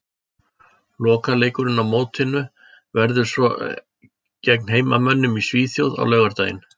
Lokaleikurinn á mótinu verður svo gegn heimamönnum í Svíþjóð á laugardaginn.